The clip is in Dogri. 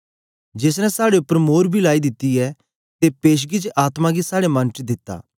जेस ने साड़े उपर मोर बी लाई दित्ती ऐ ते पेशगी च आत्मा गी साड़े मन च दित्ता